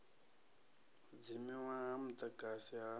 u dzimiwa ha mudagasi ha